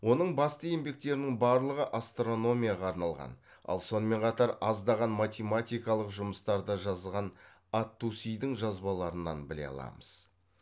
оның басты еңбектерінің барлығы астрономияға арналған ал сонымен қатар аздаған математикалық жұмыстарды жазған ат тусидің жазбаларынан біле аламыз